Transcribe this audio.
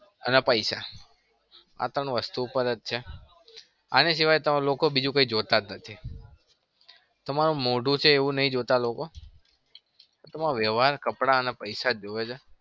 અને પૈસા આ ત્રણ વસ્તુ ઉપર જ છે. આની સિવાય તમે લોકો બીજું કઈ જોતા જ નથી. તમારું મોઢું છે એવું નહી જોતા લોકો તમારો વ્યવહાર કપડા અને પૈસા જ જોવે છે.